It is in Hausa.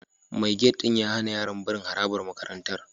Mai gate ɗin ya hana yaran barin harabar makarantar